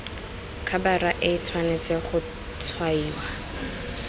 khabara e tshwanetse go tshwaiwa